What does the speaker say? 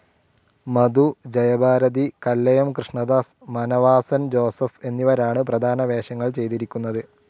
മധു, Jayabharathi, Kallayam Krishnadas, Manavasan Joseph എന്നിവരാണ് പ്രധാന വേഷങ്ങൾ ചെയ്തിരിക്കുന്നത്.